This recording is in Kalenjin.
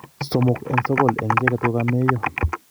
somok en sogool en icheget kogameyo